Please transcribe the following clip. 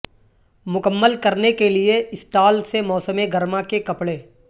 مکمل کرنے کے لئے سٹال سے موسم گرما کے کپڑے